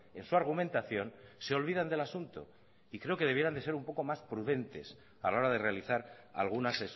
en su argumentación se olvidan del asunto y creo que debieran de ser un poco más prudentes a la hora de realizar algunas